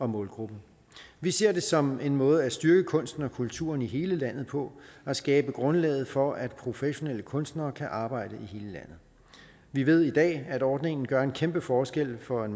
målgruppen vi ser det som en måde at styrke kunsten og kulturen i hele landet på og skabe grundlaget for at professionelle kunstnere kan arbejde i hele landet vi ved i dag at ordningen gør en kæmpe forskel for et